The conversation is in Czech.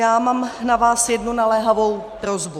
Já mám na vás jednu naléhavou prosbu.